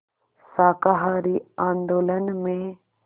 शाकाहारी आंदोलन में